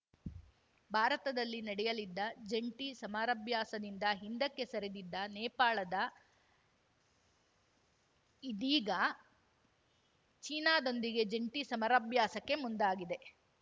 ಭಾರತದಲ್ಲಿ ನಡೆಯಲಿದ್ದ ಜಂಟಿ ಸಮರಭ್ಯಾಸದಿಂದ ಹಿಂದಕ್ಕೆ ಸರಿದಿದ್ದ ನೇಪಾಳದ ಇದೀಗ ಚೀನಾದೊಂದಿಗೆ ಜಂಟಿ ಸಮರಭ್ಯಾಸಕ್ಕೆ ಮುಂದಾಗಿದೆ